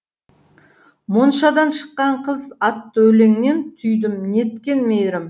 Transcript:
моншадан шыққан қыз атты өлеңнен түйдім неткен мейірім